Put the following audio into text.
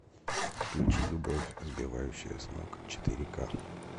включи любовь сбивающая с ног четыре ка